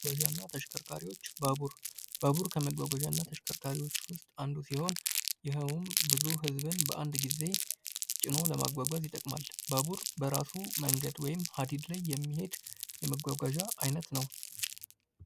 መጓጓዣ እና ተሽከርካሪዎች ፦ ባቡር ፦ ባቡር ከ ከመጓጓዣ እና ተሽከርካሪዎች ውስጥ አንዱ ሲሆን ይኸውም ብዙ ህዝብን በአንድ ጊዜ ጭኖ ለማጓጓዝ ይጠቅማል ። ባቡር በራሱ መንገድ ወይም ሀዲድ ላይ የሚሄድ የመጓጓዣ አይነት ነው ።